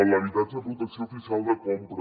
l’habitatge de protecció oficial de compra